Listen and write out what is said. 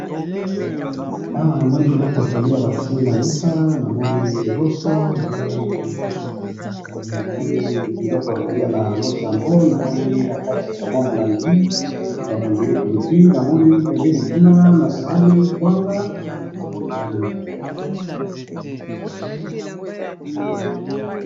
Awa na moni biloko ya kolia na mesa, na moni loso , na sauce , na milangi mibale, moko ya pilipili,